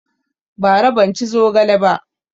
Ba ra ban ci zogale ba